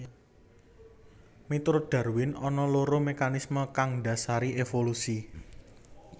Miturut Darwin ana loro mekanismé kang ndhasari évolusi